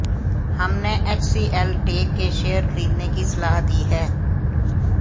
हमने HCL tech के share खरीदने की सलाह दी है